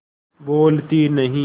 बोलती नहीं